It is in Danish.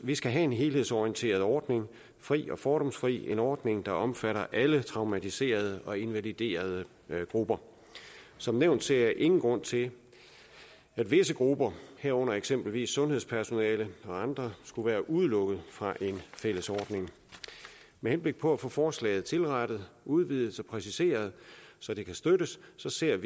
vi skal have en helhedsorienteret ordning der fri og fordomsfri en ordning der omfatter alle traumatiserede og invaliderede grupper som nævnt ser jeg ingen grund til at visse grupper herunder eksempelvis sundhedspersonale og andre skulle være udelukket fra en fælles ordning med henblik på at få forslaget tilrettet udvidet og præciseret så det kan støttes så ser